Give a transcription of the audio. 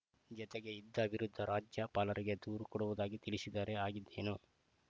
ಜತೆಗೆ ಇದ್ದ ವಿರುದ್ಧ ರಾಜ್ಯಪಾಲರಿಗೆ ದೂರು ಕೊಡುವುದಾಗಿ ತಿಳಿಸಿದರೆ ಆಗಿದ್ದೇನು